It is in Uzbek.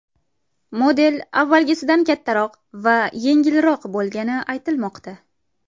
Model avvalgisidan kattaroq va yengilroq bo‘lgani aytilmoqda.